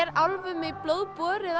álfum í blóð borið að